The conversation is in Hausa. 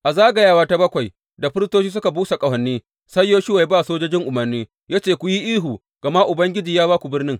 A zagawa ta bakwai, da firistoci suka busa ƙahoni, sai Yoshuwa ya ba sojojin umarni ya ce, Ku yi ihu, gama Ubangiji ya ba ku birnin!